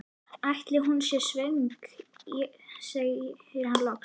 Ætli hún sé svöng? segir hann loks.